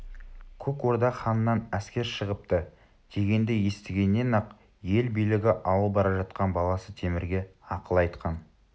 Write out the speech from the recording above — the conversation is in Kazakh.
көк орда ханынан әскер шығыпты дегенді естігеннен-ақ ел билігі ауып бара жатқан баласы темірге ақыл айтқан